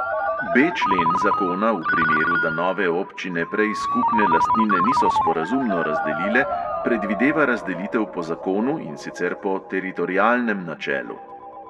B člen zakona v primeru, da nove občine prej skupne lastnine niso sporazumno razdelile, predvideva razdelitev po zakonu, in sicer po teritorialnem načelu.